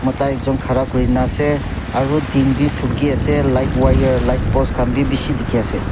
mota ekjon khara kurina ase aru din vi fogy ase light wire light post khan vi bishi dekhi ase.